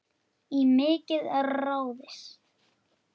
Í mikið ráðist